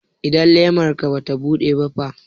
Idan lemar bata buɗe ba fa?